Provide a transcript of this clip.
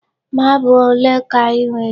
Marble ole ka I nwere?